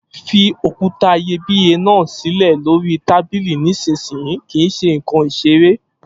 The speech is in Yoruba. Fi òkúta iyebíye náà sílè lóríi tábìlì nísinsìnyí! Kìí ṣe ǹkan ìṣeré